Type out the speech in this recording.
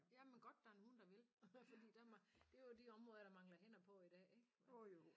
Jamen godt der er nogle der vil fordi det det er jo de områder der mangler hænder på i dag ik